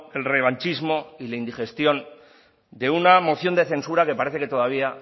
el revanchismo y la indigestión de una moción de censura que parece que todavía